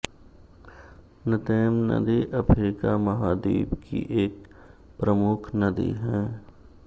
न्तेम नदी अफ्रीका महाद्वीप की एक प्रमुख नदी हैं